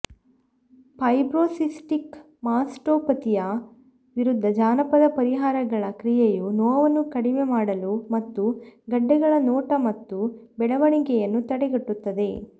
fibrocystic ಮಾಸ್ಟೋಪತಿಯ ವಿರುದ್ಧ ಜಾನಪದ ಪರಿಹಾರಗಳ ಕ್ರಿಯೆಯು ನೋವನ್ನು ಕಡಿಮೆ ಮಾಡಲು ಮತ್ತು ಗೆಡ್ಡೆಗಳ ನೋಟ ಮತ್ತು ಬೆಳವಣಿಗೆಯನ್ನು ತಡೆಗಟ್ಟುತ್ತದೆ